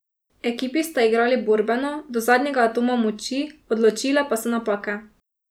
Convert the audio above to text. Ekipi sta igrali borbeno, do zadnjega atoma moči, odločile pa so napake.